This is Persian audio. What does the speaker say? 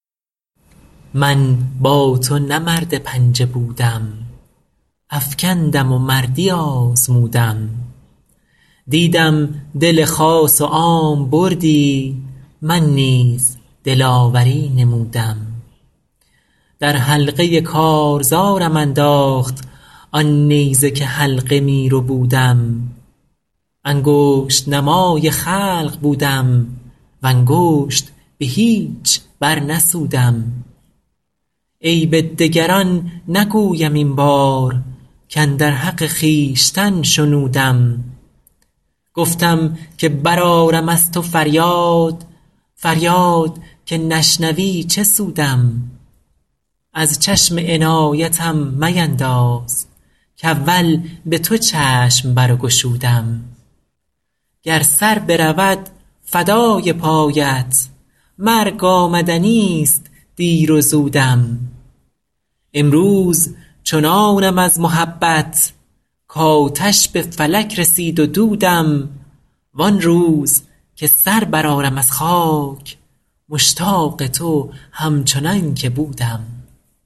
من با تو نه مرد پنجه بودم افکندم و مردی آزمودم دیدم دل خاص و عام بردی من نیز دلاوری نمودم در حلقه کارزارم انداخت آن نیزه که حلقه می ربودم انگشت نمای خلق بودم و انگشت به هیچ برنسودم عیب دگران نگویم این بار کاندر حق خویشتن شنودم گفتم که برآرم از تو فریاد فریاد که نشنوی چه سودم از چشم عنایتم مینداز کاول به تو چشم برگشودم گر سر برود فدای پایت مرگ آمدنیست دیر و زودم امروز چنانم از محبت کآتش به فلک رسید و دودم وان روز که سر برآرم از خاک مشتاق تو همچنان که بودم